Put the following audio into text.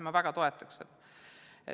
Ma väga toetan seda.